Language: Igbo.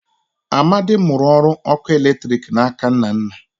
Amadi mụrụ ọrụ ọkụ eletriki na aka Nnanna